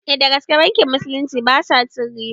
Eh dagaske bankin musulunci basa cin riba